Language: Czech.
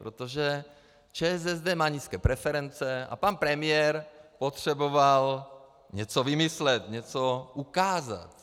Protože ČSSD má nízké preference a pan premiér potřeboval něco vymyslet, něco ukázat.